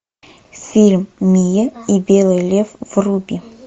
фильм миа и белый лев вруби